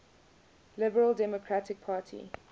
liberal democratic party